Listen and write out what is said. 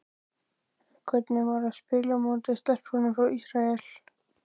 En hvernig var að spila á móti stelpunum frá Ísrael?